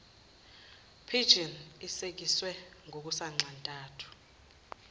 pigeon isekiswe ngokusanxantathu